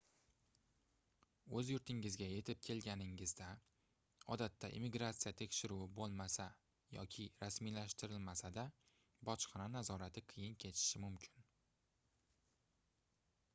oʻz yurtingizga yetib kelganingizda odatda immigratsiya tekshiruvi boʻlmasa yoki rasmiylashtirilmasa-da bojxona nazorati qiyin kechishi mumkin